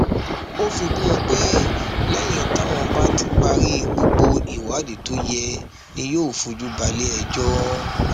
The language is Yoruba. ó fi kún un pé lẹyìn táwọn bá ti parí gbogbo ìwádìí tó yẹ ni yóò fojú balẹẹjọ